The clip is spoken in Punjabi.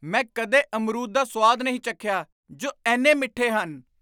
ਮੈਂ ਕਦੇ ਅਮਰੂਦ ਦਾ ਸੁਆਦ ਨਹੀਂ ਚੱਖਿਆ ਜੋ ਇੰਨੇ ਮਿੱਠੇ ਹਨ!